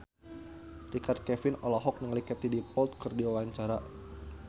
Richard Kevin olohok ningali Katie Dippold keur diwawancara